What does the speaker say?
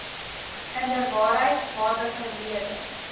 inderwaarheid waardige lede